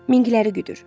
Mingləri güdür.